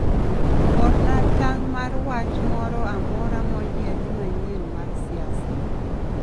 orna tang' mar wach moro amora moyiedhi manyien mar siasa